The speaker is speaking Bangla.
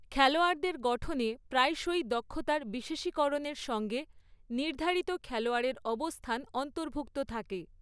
খেলোয়াড়দের গঠনে প্রায়শই দক্ষতার বিশেষীকরণের সঙ্গে নির্ধারিত খেলোয়াড়ের অবস্থান অন্তর্ভুক্ত থাকে।